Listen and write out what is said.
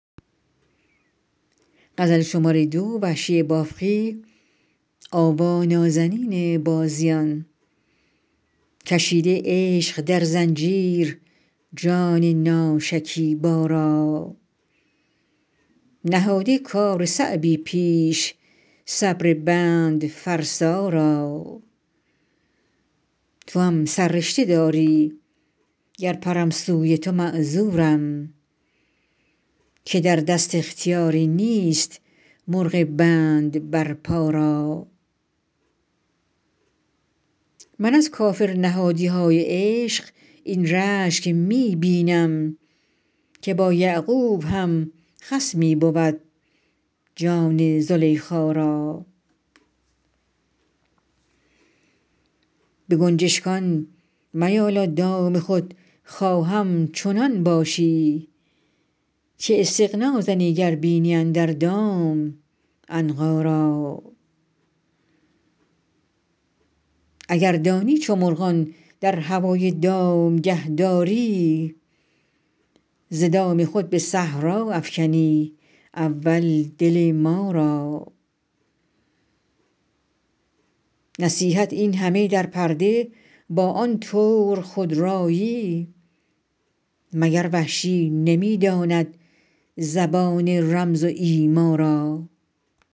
کشیده عشق در زنجیر جان ناشکیبا را نهاده کار صعبی پیش صبر بند فرسا را توام سررشته داری گر پرم سوی تو معذورم که در دست اختیاری نیست مرغ بند بر پا را من از کافرنهادیهای عشق این رشک می بینم که با یعقوب هم خصمی بود جان زلیخا را به گنجشگان میالا دام خود خواهم چنان باشی که استغنا زنی گر بینی اندر دام عنقا را اگر دانی چو مرغان در هوای دامگه داری ز دام خود به صحرا افکنی اول دل ما را نصیحت اینهمه در پرده با آن طور خودرایی مگر وحشی نمی داند زبان رمز و ایما را